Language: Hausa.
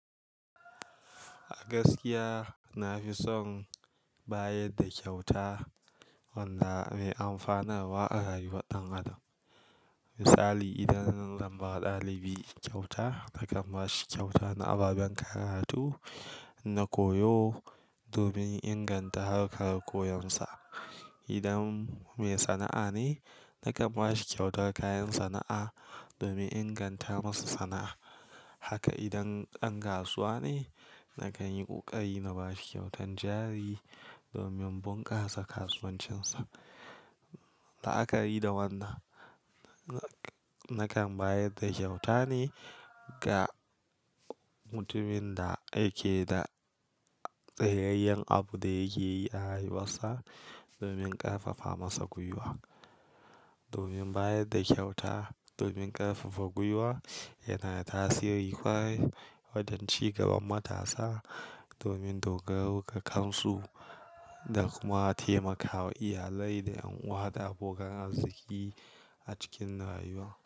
A gaskiya, na fi son bayar da kyauta wanda mai amfanar wa a rayuwar ɗan adam. Misali, idan zan bawa ɗalibi kyauta, nakan ba shi kyauta na ababen karatu na koyo domin inganta harkar koyonsa. Idan mai sana'a ne, nakan ba shi kyautar kayan sana'a domin inganta masa sana'a. Haka idan ɗan kasuwa ne, nakan yi ƙoƙari na ba shi kyautan jari domin bunƙasa kasuwancinsa. La'akari da wannan, nakan bayar da kyauta ne ga mutumin da yake da tsayayyen abu da yake yi a rayuwarsa domin ƙarfafa masa gwiwa. Domin bayar da kyauta domin ƙarfafa gwiwa yana da tasiri ƙwarai wajen ci gaban matasa domin dogaro ga kansu da kuma taimakawa iyalai da unguwar da abokan arziki a cikin rayuwa.